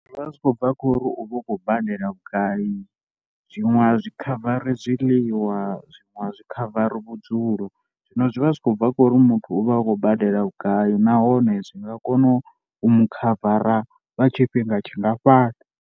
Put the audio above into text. Zwi vha zwi khou bva kha uri u vha u khou badela vhugai zwiṅwe a zwi khavara zwiḽiwa, zwiṅwe a zwi khavari vhudzulo. Zwino zwi vha zwi khou bva kha uri muthu u vha a khou badela vhugai nahone zwi nga kona u mu khavara lwa tshifhinga tshi ngafhani.